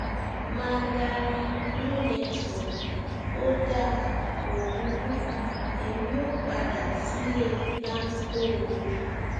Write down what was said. mandarin no network ó dáa kó burú èmi ó padà sílé láńkó o